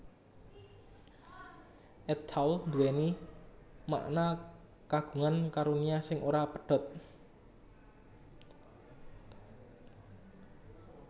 At Tawl nduwèni makna Kagungan karunia sing ora pedhot